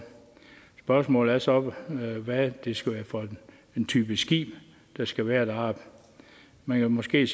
spørgsmålet er så hvad det skal være for en type skib der skal være deroppe man kan måske